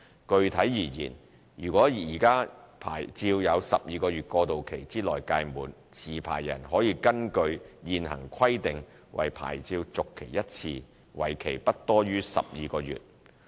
具體而言，如果現有牌照在12個月過渡期之內屆滿，持牌人可根據現行規定為牌照續期1次，為期不多於12個月。